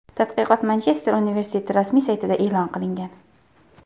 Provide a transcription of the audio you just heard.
Tadqiqot Manchester universiteti rasmiy saytida e’lon qilingan .